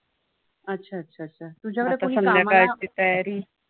अच्छा. अच्छा. अच्छा. तुझ्याकडे कुणी कामाला